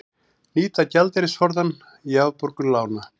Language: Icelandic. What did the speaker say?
Nýta gjaldeyrisforðann í afborgun lána